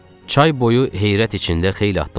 Çay boyu heyrət içində xeyli addımladıq.